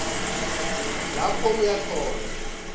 lapho aya khona